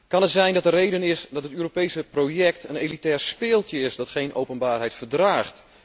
Kan het zijn dat de reden is dat het Europese project een elitair speeltje is dat geen openbaarheid verdraagt?